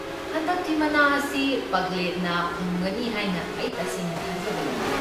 ꯍꯟꯗꯛꯇꯤ ꯃꯅꯥ ꯑꯁꯤ ꯄꯥꯒ꯭ꯂꯦꯠꯅ ꯐꯪꯒꯅꯤ ꯍꯥꯏꯅ ꯑꯩ ꯇꯁꯦꯡꯅ ꯊꯥꯖꯕ ꯂꯩ꯫